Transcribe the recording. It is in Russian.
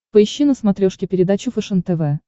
поищи на смотрешке передачу фэшен тв